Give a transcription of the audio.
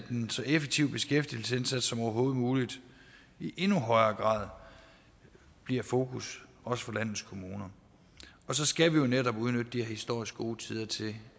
en så effektiv beskæftigelsesindsats som overhovedet muligt i endnu højere grad bliver et fokus også for landets kommuner og så skal vi jo netop udnytte de her historisk gode tider til